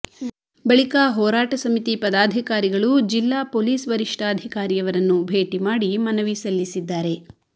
ಬಳಿಕ ಹೋರಾಟ ಸಮಿತಿ ಪದಾಧಿಕಾರಿಗಳು ಜಿಲ್ಲಾ ಪೊಲೀಸ್ ವರಿಷ್ಠಾಧಿಕಾರಿಯವರನ್ನು ಭೇಟಿ ಮಾಡಿ ಮನವಿ ಸಲ್ಲಿಸಿದ್ದಾರೆ